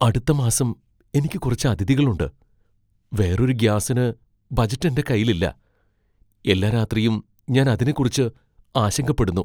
അടുത്ത മാസം എനിക്ക് കുറച്ച് അതിഥികൾ ഉണ്ട് , വേറൊരു ഗ്യാസിന് ബജറ്റ് എന്റെ കൈയിൽ ഇല്ല . എല്ലാ രാത്രിയും ഞാൻ അതിനെക്കുറിച്ച് ആശങ്കപ്പെടുന്നു.